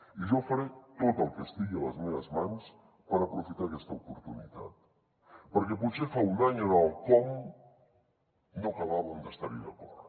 i jo faré tot el que estigui a les meves mans per aprofitar aquesta oportunitat perquè potser fa un any en el com no acabàvem d’estar hi d’acord